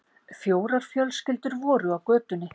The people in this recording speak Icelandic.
Fjórar fjölskyldur voru á götunni.